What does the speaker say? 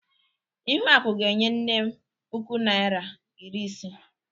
Ihuaku ga enye nnem puku Naịra iri ise.